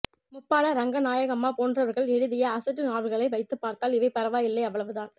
முப்பாள ரங்கநாயகம்மா போன்றவர்கள் எழுதிய அசட்டு நாவல்களை வைத்துப்பார்த்தால் இவை பரவாயில்லை அவ்வளவுதான்